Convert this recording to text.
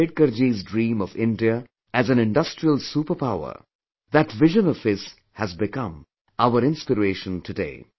Ambedkarji's dream of India as an industrial super powerthat vision of his has become our inspiration today